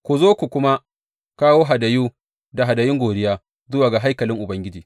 Ku zo ku kuma kawo hadayu da hadayun godiya zuwa ga haikalin Ubangiji.